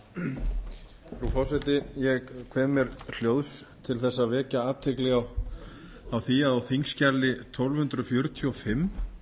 frú forseti ég kveð mér hljóðs til þess að vekja athygli á því að á auk tólf hundruð fjörutíu og fimm